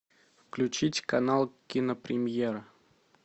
включить канал кинопремьера